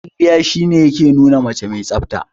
Kwalliya shi ne ya ke nuna mace mai tsafta.